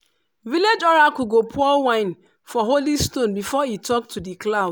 village oracle go pour wine for holy stone before e talk to di cloud.